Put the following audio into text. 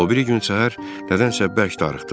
O biri gün səhər nədənsə bərk darıxdım.